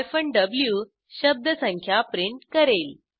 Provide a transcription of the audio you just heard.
V शब्दसंख्या print करेल